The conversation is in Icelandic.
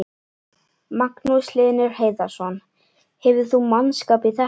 Magnús Hlynur Hreiðarsson: Hefur þú mannskap í þetta?